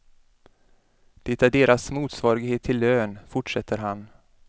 Det är deras motsvarighet till lön, fortsätter han.